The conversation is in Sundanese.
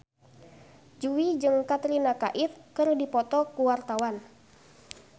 Jui jeung Katrina Kaif keur dipoto ku wartawan